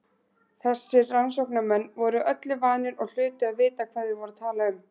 Þessir rannsóknarmenn voru öllu vanir og hlutu að vita hvað þeir voru að tala um.